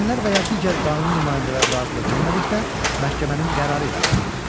Valideynlər və ya digər qanuni nümayəndələr razılıq vermədikdə məhkəmənin qərarı ilə aparılır.